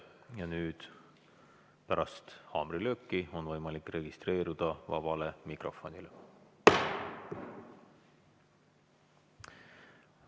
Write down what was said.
Ja nüüd pärast haamrilööki on võimalik registreeruda vabale mikrofonile.